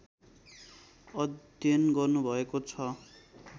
अध्ययन गर्नुभएको छ